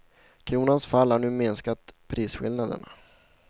Kronans fall har nu minskat prisskillnaderna.